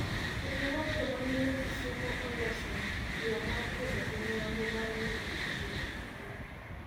Riwruog jomamine Kisumo oloso yoo mar kedo gi nyange mar nyiri kitiyo gi mbui.